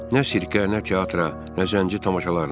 Nə sirkə, nə teatra, nə zənci tamaşalarına.